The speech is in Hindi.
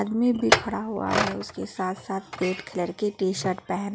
भी खड़ा हुआ है उसके साथ साथ रेड कलर की टी शर्ट पहन--